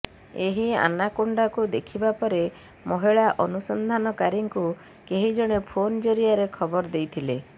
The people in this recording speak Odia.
ଏହି ଆନାକୋଣ୍ଡାକୁ ଦେଖିବା ପରେ ମହିଳା ଅନୁସନ୍ଧାନକାରୀଙ୍କୁ କେହି ଜଣେ ଫୋନ୍ ଜରିଆରେ ଖବର ଦେଇଥିଲେ